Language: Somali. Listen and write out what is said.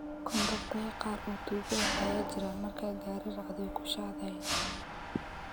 Kondoktaya kaar oo tugo eeh aya jiran marka gari racdo way kushadhayin.